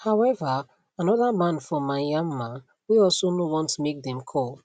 however anoda man for myanmar wey also no want make dem call